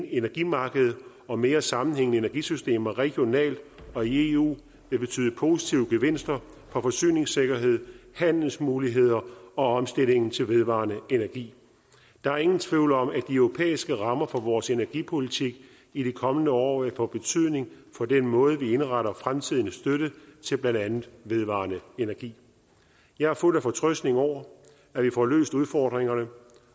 energimarked og mere sammenhængende energisystemer regionalt og i eu vil betyde positive gevinster for forsyningssikkerhed handelsmuligheder og omstillingen til vedvarende energi der er ingen tvivl om at de europæiske rammer for vores energipolitik i de kommende år vil få betydning for den måde hvorpå vi indretter fremtidig støtte til blandt andet vedvarende energi jeg er fuld af fortrøstning over at vi får løst udfordringerne